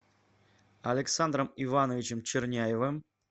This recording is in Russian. александром ивановичем черняевым